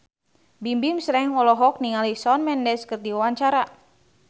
Bimbim Slank olohok ningali Shawn Mendes keur diwawancara